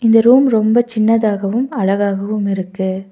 இந்த ரூம் ரொம்ப சின்னதாகவும் அழகாகவும் இருக்கு.